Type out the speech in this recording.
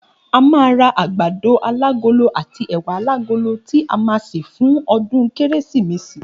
A máa ra àgbàdo alágolo àti è̩wà alágolo tí a má a sè fún o̩dún kérésìmesì